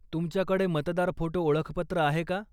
तुमच्याकडे मतदार फोटो ओळखपत्र आहे का?